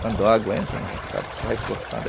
Quando a água entra no roçado, a gente vai cortando.